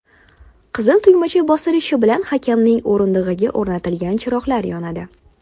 Qizil tugmacha bosilishi bilan hakamning o‘rindig‘iga o‘rnatilgan chiroqlar yonadi.